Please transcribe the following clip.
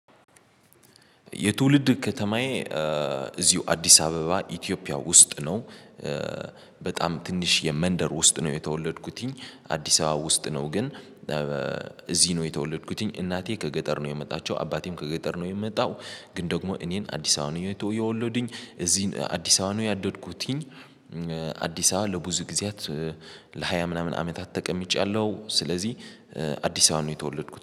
የትውልድ ከተማዬ እዚው አዲስ አበባ ኢትዮጵያ ውስጥ ነው። በጣም ትንሽየ መንደር ውስጥ ነው የተወለድኩትኝ አዲስ አበባ ውስጥ ነው ግን። እዚ ነው የተወለድኩትኝ እናቴ ከገጠር ነው የመጣቸው አባቴም ከገጠር ነው የመጣው። ግን ደግሞ እኔን አዲስ አበባ የወለዱኝ እዚ አዲስ አበባ ነው ያደድኩትኝ። አዲስ አባ ለብዙ ጊዜያት ለሃያ ምናምን አመታት ተቀምጫለሁ። ስለዚ አዲስ አባ ነው የተወለድኩት